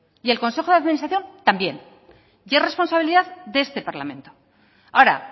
y el consejo de administración también y es responsabilidad de este parlamento ahora